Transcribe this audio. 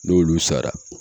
N'olu sara